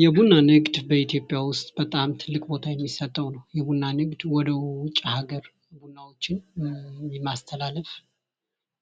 የቡና ንግድ በኢትዮጵያ ዉስጥ በጣም ትልቅ ቦታ የሚሰጠዉ ነዉ። የቡና ንግድ ወደ ዉጭ ሀገር ቡናዎችን በማስተላለፍ